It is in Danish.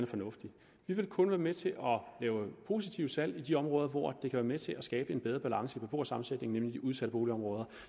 fornuftig vi vil kun være med til positive salg i de områder hvor det kan være med til at skabe en bedre balance i beboersammensætningen nemlig i udsatte boligområder